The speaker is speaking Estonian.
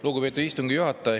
Lugupeetud istungi juhataja!